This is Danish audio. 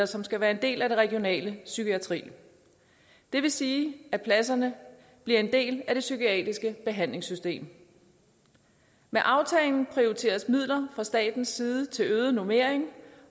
som skal være en del af den regionale psykiatri det vil sige at pladserne bliver en del af det psykiatriske behandlingssystem med aftalen prioriteres midler fra statens side til øget normering